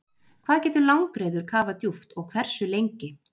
hvað getur langreyður kafað djúpt og hversu lengi